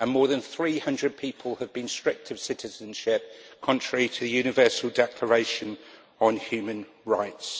and more than 300 people have been stripped of citizenship, contrary to the Universal Declaration on Human Rights.